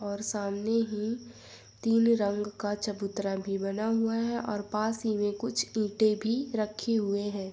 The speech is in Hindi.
और सामने ही तीन रंग का चबुतरा भी बना हुआ है और पास ही में कुछ ईटे भी रखे हुएं हैं।